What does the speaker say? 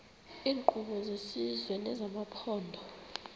iinkqubo zesizwe nezamaphondo